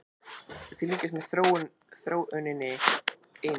Við fylgjumst með þróuninni einnig